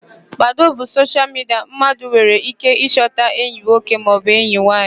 Badoo bụ soshial midia mmadụ nwere íké ịchọta enyi nwoke maọbụ enyi nwaanyị.